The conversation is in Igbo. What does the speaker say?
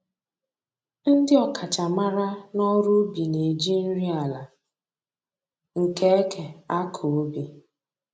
Ndị ọkachamara n'ọrụ ubi na-eji nri ala nke eke akọ ubi